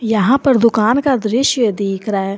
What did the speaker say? यहां पर दुकान का दृश्य दिख रहा है।